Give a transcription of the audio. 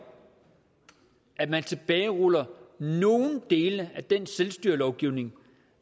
at man tilbageruller nogen dele af den selvstyrelovgivning